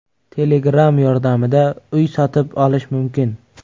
Telegram yordamida uy sotib olish mumkin.